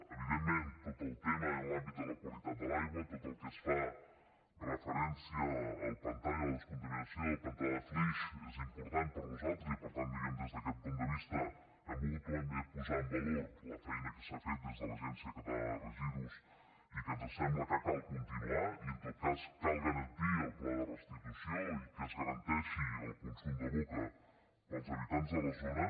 evidentment tot el tema i l’àmbit de la qualitat de l’aigua tot el que fa referència al pantà i a la descontaminació del pantà de flix és important per nosaltres i per tant diguem ne des d’aquest punt de vista hem volgut també posar en valor la feina que s’ha fet des de l’agència catalana de residus i que ens sembla que cal continuar i en tot cas cal garantir el pla de restitució i que es garanteixi el consum de boca per als habitants de la zona